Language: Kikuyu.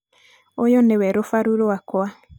ũyũ nĩwe rũbaru rwakwa.